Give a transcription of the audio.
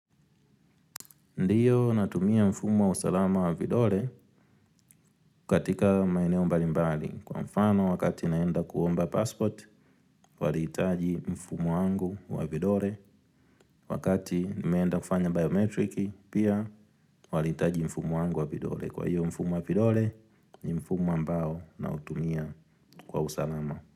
Ndio, natumia mfumo wa usalama wa vidole, katika maeneo mbali mbali. Kwa mfano wakati naenda kuomba passport, walihitaji mfumo wangu wa vidole. Wakati nimeenda kufanya biometriki, pia walihitaji mfumo wangu wa vidole. Kwa hio, mfumo wa vidole, ni mfumo ambao na utumia kwa usalama.